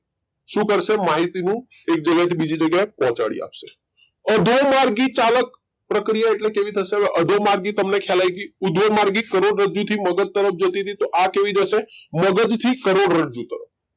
શું કરશે માહિતી નું એક જગ્યા એ થી બીજી જગ્યા એ પહોંચાડી આપશે અધો માર્ગી ચાલાક પક્રિયા એટલે કેવી થશે અધો માર્ગી તમને ખ્યાલ આઈ ગઈ ઉર્ધ્વ માર્ગી કરોડરજ્જુ થી મગજ જતી તી તો આ કેવી જશે મગજ થી કરોડરજ્જુ તરફ